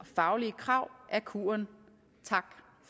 faglige krav er kuren tak